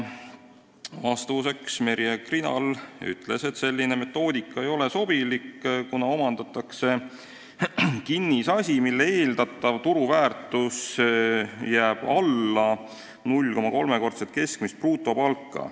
Vastuseks ütles Merje Krinal, et selline metoodika ei ole sobilik, kuna omandatakse kinnisasi, mille eeldatav turuväärtus jääb alla 0,3-kordset keskmist brutopalka.